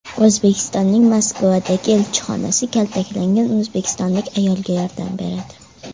O‘zbekistonning Moskvadagi elchixonasi kaltaklangan o‘zbekistonlik ayolga yordam beradi .